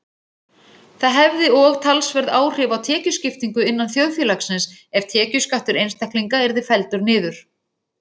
Það hefði og talsverð áhrif á tekjuskiptingu innan þjóðfélagsins ef tekjuskattur einstaklinga yrði felldur niður.